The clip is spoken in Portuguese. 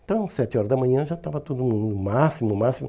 Então, sete horas da manhã já estava todo mundo, no máximo, no máximo.